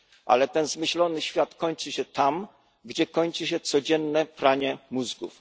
Ale ten zmyślony świat kończy się tam, gdzie kończy się codzienne pranie mózgów.